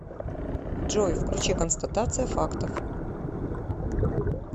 джой включи констатация фактов